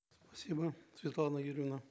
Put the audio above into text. спасибо светлана юрьевна